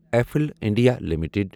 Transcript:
افل India limited